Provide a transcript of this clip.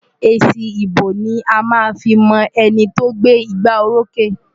Èsì ìbò ni a máa fi mọ ẹni tí ó gbé igbárókè.